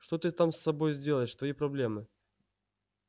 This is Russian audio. что ты там с собой сделаешь твои проблемы